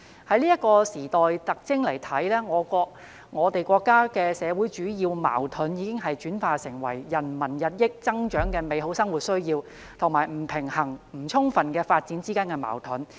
從這時代特徵看來，我們國家的社會主要矛盾已經轉化為人民日益增長的美好生活需要，以及不平衡不充分的發展之間的矛盾。